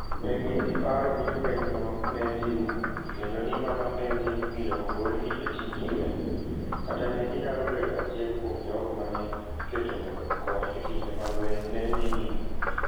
Ne gin gi paro ni lwenyno ne dhi rumo, kendo ni mano ne dhi miyo ogolgi e tij lweny, kata ne ginyalo bedo achiel kuom jogo ma ne iketo mondo okony e kinde ma lweny ne dhi nyime.